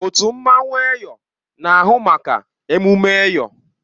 Otu mmanwụ Eyọ na-ahụ maka emume Eyọ.